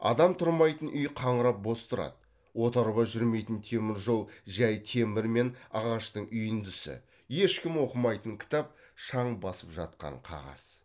адам тұрмайтын үй қаңырап бос тұрады отарба жүрмейтін темір жол жай темір мен ағаштың үйіндісі ешкім оқымайтын кітап шаң басып жатқан қағаз